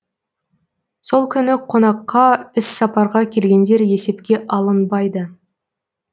сол күні қонаққа іс сапарға келгендер есепке алынбайды